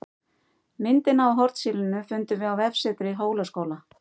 Myndina af hornsílinu fundum við á vefsetri Hólaskóla